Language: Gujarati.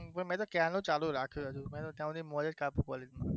મેં તો ક્યારનું ચાલુ રાખ્યું હતું તમે મોડું start કર્યું